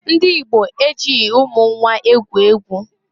Ndị Igbo ejighi umu nnwa egwu egwu.